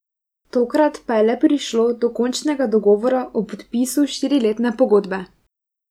Tokrat pa je le prišlo do končnega dogovora o podpisu štiriletne pogodbe.